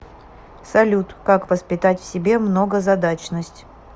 салют как воспитать в себе многозадачность